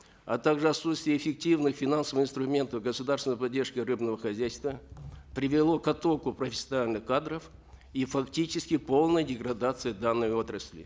а также отсутствие эффективных финансовых инструментов государственной поддержки рыбного хозяйства привело к оттоку профессиональных кадров и фактически полной деградации данной отрасли